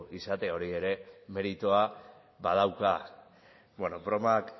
izatea hori ere meritua badauka bueno bromak